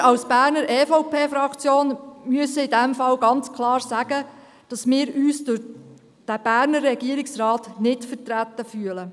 Wir als Berner EVP-Fraktion müssen in diesem Fall ganz klar sagen, dass wir uns durch den Berner Regierungsrat nicht vertreten fühlen.